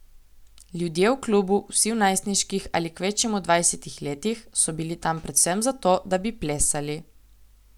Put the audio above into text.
Ljudje v klubu, vsi v najstniških ali kvečjemu dvajsetih letih, so bili tam predvsem zato, da bi plesali.